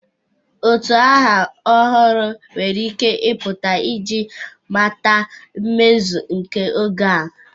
Utu aha ọhụrụ nwere ike ịpụta iji mata mmezu nke oge a.